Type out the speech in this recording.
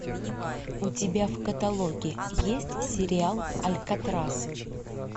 у тебя в каталоге есть сериал алькатрас